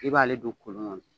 I b'ale don kolon kɔnɔ